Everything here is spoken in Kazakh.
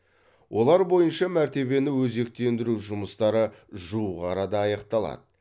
олар бойынша мәртебені өзектендіру жұмыстары жуық арада аяқталады